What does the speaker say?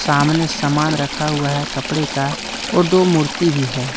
सामने समान रखा हुआ है कपड़े का और दो मूर्ति भी है ।